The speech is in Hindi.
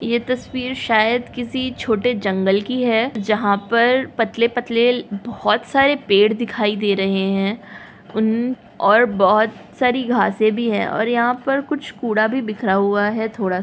ये तस्वीर शायद किसी छोटे जंगल की है जहाँ पर पतले- पतले बहुत सारे पेड़ दिखाई दे रहे हैं उन और बहुत सारी घासें भी हैं और यहाँ पर कुछ कूड़ा भी बिखरा हुआ है थोड़ा --